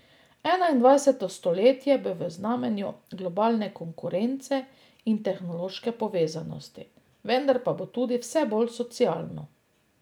Enaindvajseto stoletje bo v znamenju globalne konkurence in tehnološke povezanosti, vendar pa bo tudi vse bolj socialno.